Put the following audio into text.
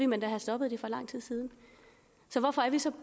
man da have stoppet det for lang tid siden så hvorfor er vi så